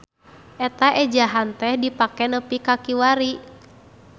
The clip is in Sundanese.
Eta ejahan teh dipake nepi ka kiwari.